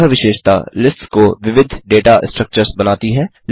यह विशेषता लिस्ट्स को विविध डेटा स्ट्रक्चर्स बनाती हैं